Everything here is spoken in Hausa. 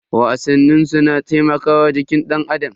Wasannin su na taimakawa jikin danAdam.